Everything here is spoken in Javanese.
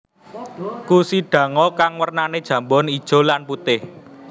Kushidango kang wernane jambon ijo lan putih